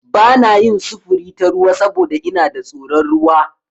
Ba na yin sufuri ta ruwa saboda ina da tsoron ruwa.